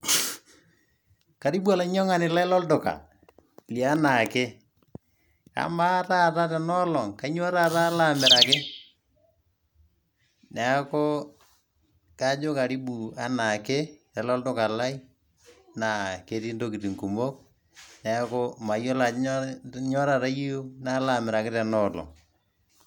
Karibu olainyang'ani lai lolduka, lenaake. Amaa taata tenoolong', kainyoo taata alo amiraki? Neeku kajo karibu enaake, lelo olduka lai, na ketii intokiting' kumok. Neeku mayiolo ajo kanyioo taata iyieu nalo amiraki tenoolong'.